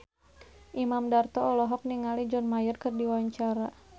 Imam Darto olohok ningali John Mayer keur diwawancara